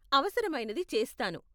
అవసరమైనది చేస్తాను.